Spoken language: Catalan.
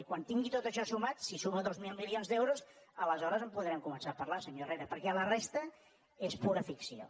i quan tingui tot això sumat si suma dos mil milions d’euros aleshores en podrem començar a parlar senyor herrera perquè la resta és pura ficció